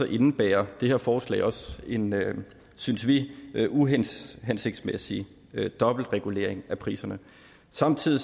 indebærer det her forslag også en synes vi uhensigtsmæssig dobbeltregulering af priserne samtidig